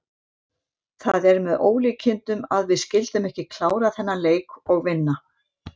Það er með ólíkindum að við skyldum ekki klára þennan leik og vinna.